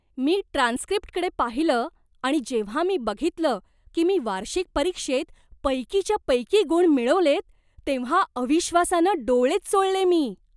मी ट्रान्सक्रिप्टकडे पाहिलं आणि जेव्हा मी बघितलं की मी वार्षिक परीक्षेत पैकीच्या पैकी गुण मिळवलेत, तेव्हा अविश्वासानं डोळेच चोळले मी.